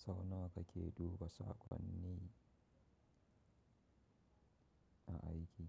Sau nawa kake duba saƙonni a aiki?